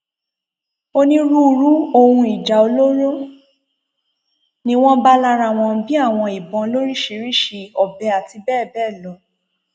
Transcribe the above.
onírúurú ohun ìjà olóró ni wọn bá lára wọn bí àwọn ìbọn lóríṣìíríṣìí ọbẹ àti bẹẹ bẹẹ lọ